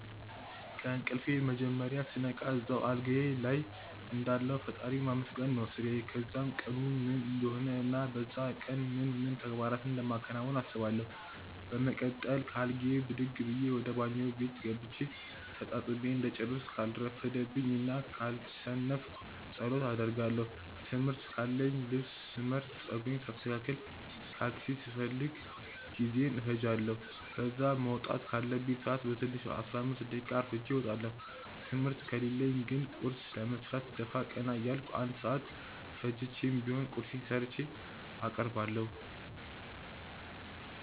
ከእንቅልፌ መጀመርያ ስነቃ እዛው አልጋዬ ልይ እንዳለሁ ፈጣሪን ማመስገን ነው ስራዬ። ከዛም ቀኑ ምን እንደሆነ እና በዛ ቀን ምን ምን ተግባራቶችን እንደማከናውን አስባለው። በመቀጠል ከአልጋዬ ብድግ ብዬ ወደ ባኞ ቤት ገብቼ ተጣጥቤ እንደጨረስኩ ካልረፈደብኝ እና ካልሰነፍኩ ጸሎት አደርጋለው። ትምህርት ካለኝ ልብስ ስመርጥ፣ ጸጉሬን ሳስተካክል፣ ካልሲ ስፈልግ ጊዜዬን እፈጃለው። ከዛ መውጣት ካለብኝ ሰአት በትንሹ 15 ደቂቃ አርፍጄ እወጣለው። ትምህርት ከሌለኝ ግን ቁርስ ለመስራት ደፋ ቀና እያልኩ 1 ሰአት ፈጅቼም ቢሆን ቁርሴን ሰርቼ አቀርባለሁ።